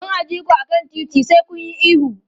Don a ji ku a kan titi, sai kun yi ihu.